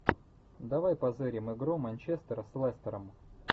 давай позырим игру манчестер с лестером